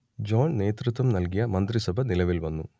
John നേതൃത്വം നൽകിയ മന്ത്രിസഭ നിലവിൽ വന്നു